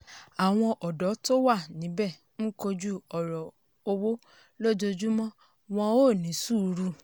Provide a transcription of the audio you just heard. àwọn òdó tó wà níbẹ̀ ń kojú òràn owó lójoojúmọ́ wọn ò ní sùúrù.